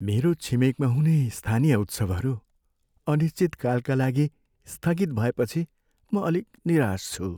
मेरो छिमेकमा हुने स्थानीय उत्सवहरू अनिश्चितकालका लागि स्थगित भएपछि म अलिक निराश छु।